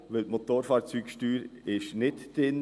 Denn die Motorfahrzeugsteuer ist nicht drin.